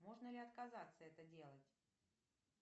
можно ли отказаться это делать